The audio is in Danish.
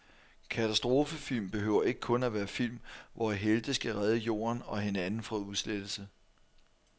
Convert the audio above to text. Katastrofefilm behøver ikke kun at være film, hvor helte skal redde jorden og hinanden fra udslettelse.